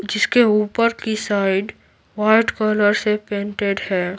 जिसके ऊपर की साइड वाइट कलर से पैन्टेड है।